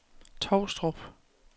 Tovstrup